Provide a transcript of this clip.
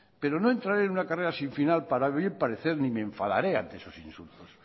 pero no entraré en una carrera sin final para bien parecerme y me enfadaré a esos insultos